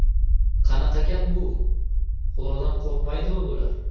Qanaqa gap bu, Xudodan qo‘rqmaydimi bular?